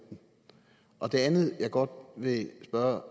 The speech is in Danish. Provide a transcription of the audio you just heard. og femten det andet jeg godt vil spørge